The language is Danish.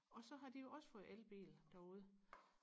og så har de jo også fået elbil derude